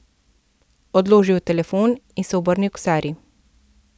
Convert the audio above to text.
Odložil je telefon in se obrnil k Sari.